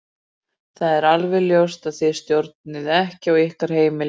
Það er alveg ljóst að þið stjórnið ekki á ykkar heimili.